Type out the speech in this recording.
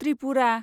Tripura